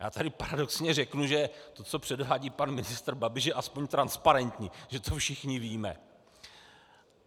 Já tady paradoxně řeknu, že to, co předvádí pan ministr Babiš, je aspoň transparentní, že to všichni víme.